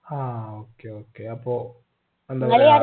ആ okay okay അപ്പോ